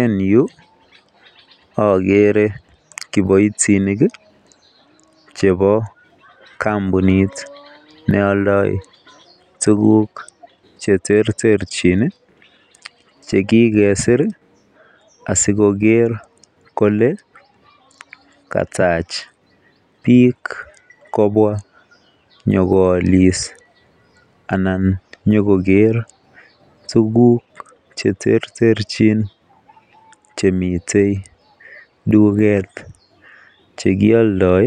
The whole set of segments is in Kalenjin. En Yu agere kibaitinik chebo kambunit neyoldoe tuguk cheterterchin chekikesir asikoker Kole katach bik kobwa konyonkoyalis anan konyo Koger tuguk cheterterchin Chemiten tuget nekiyokdoe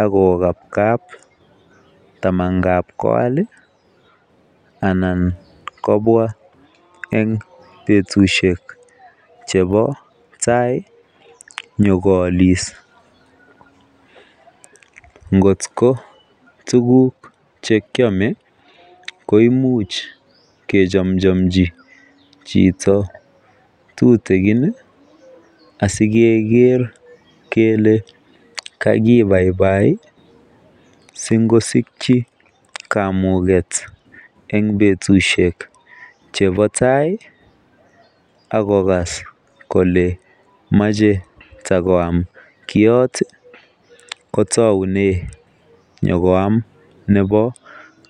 akokabkab tamangab koyal anan kobwa en betushek chebobtai konyo koyalis ngot ko tuguk chekiame koimuch kechomchamchi Chito tutikin sikeger Kole kakibaibai singosiki kamuget en betushek chebobtai akokase Kole mache takoyamnkiot kotagunen konyokoyam Nebo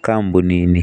kambunit ni